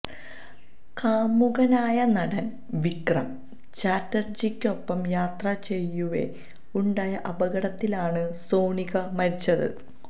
കാമുകനായ നടന് വിക്രം ചാറ്റര്ജിക്കൊപ്പം യാത്ര ചെയ്യവേ ഉണ്ടായ അപകടത്തിലാണ് സോണിക മരിച്ചത്